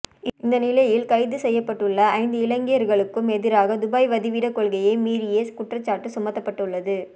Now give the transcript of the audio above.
இந்த நிலையில் கைது செய்யப்பட்டுள்ள ஐந்து இலங்கையர்களுக்கும் எதிராக துபாய் வதிவிட கொள்கையை மீறிய குற்றச்சாட்டு சுமத்தப்பட்டுள்ளது